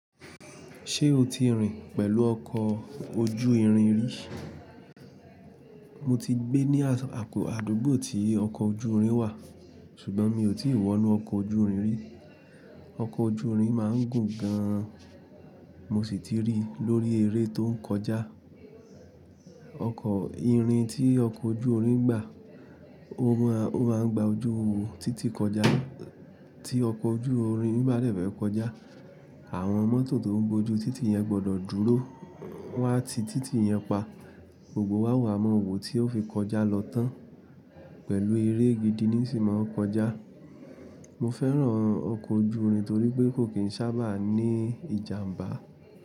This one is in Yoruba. Ṣé o ti rìn pẹ̀lú ọkọ̀ ojú irin rí? Mo ti gbé ní àdúgbò tí ọkọ̀ ojú irin wà, ṣùgbọ́n mi ò tí ì wọ inú ọkọ̀ ojú irin rí. Ọkọ̀ ojú irin máa ń gùn gan an, mo sì ti rí lórí eré tó ń kọjá. Ọkọ̀ ìrìn tí ọkọ̀ ojú irin ń gbà, ó máa ń gba ojú títí kọjá. Tí ọkọ̀ ojú irin bá dẹ̀bẹ̀ kọjá, àwọn mọ́tò tó ń bojú títì yẹn gbọ́dọ̀ dúró won a ti títì yẹn pa. Gbogbo wa oo wà mọ́ wò tí ó fi kọjá lọ tán pẹ̀lú eré gidi ní sí máa ń kọjá. Mo fẹ́ràn ọkọ̀ ojú irin torí pé kò kì í sábà ní ìjàmbá.